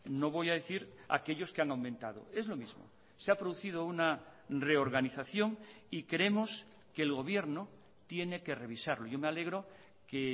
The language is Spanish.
no voy a decir aquellos que han aumentado es lo mismo se ha producido una reorganización y creemos que el gobierno tiene que revisarlo yo me alegro que